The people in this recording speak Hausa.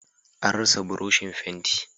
An rasa buroshin fenti.